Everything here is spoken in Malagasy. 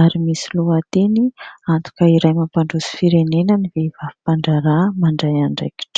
ary misy lohateny : antoka iray mampandroso firenena ny vehivavy mpandraharaha mandray andraikitra.